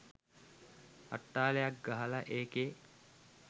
අට්ටාලයක් ගහලා ඒකේ